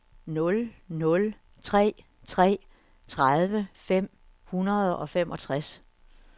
nul nul tre tre tredive fem hundrede og femogtres